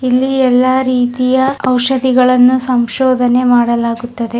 ಇಲ್ಲಿ ಎಲ್ಲ ರೀತಿಯ ಔಷಧಿಗಳನ್ನು ಸಂಶೋಧನೆ ಮಾಡಲಾಗುತ್ತದೆ.